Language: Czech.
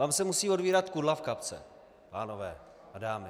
Vám se musí otvírat kudla v kapse, pánové a dámy.